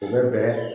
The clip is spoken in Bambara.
U bɛ bɛn